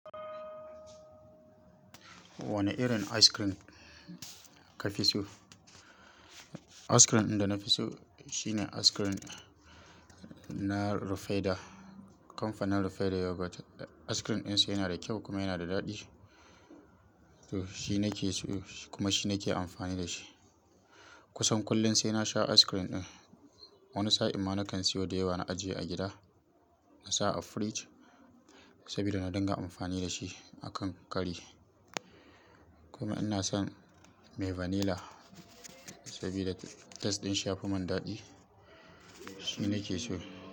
Wane irin ice cream kafi so? Ice cream da na fi so shine ice cream na Rufaidah. Kamfanin Rufaidah Yogurt ice cream ɗinsa yana da kyau kuma yana da daɗi. To shi nake so kuma shi nake amfani da shi. Kusan kullum sai na sha ice cream ɗin. Wani sa'ad amma nakan siyo da yawa na ajiye a gida, na sa a fridge saboda na dinga amfani da shi a kan kari. Kuma ina son mai vanilla saboda taste ɗin shi ya fi mun daɗi. Shi nake so.